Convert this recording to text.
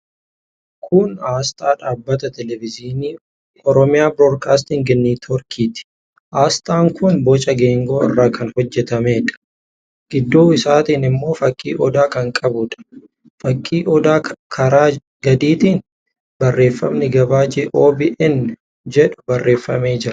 Kun aasxaa dhaabbata teelevizyiinii 'Oromia Broadcasting Network 'ti. Aasxaan kun boca geengoo irraa kan hojjetameedha. Gidduu isaatiin immoo fakkii odaa kan qabuudha. Fakkii odaa karaa gadiitiin barreeffamni gabaajee 'OBN' jedhu barreeffamee jira.